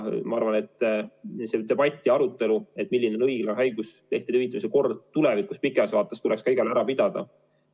Ma arvan, et see debatt ja arutelu, milline on õiglane haiguslehtede hüvitamise kord tulevikus, pikas vaates, tuleks ka igal juhul ära pidada.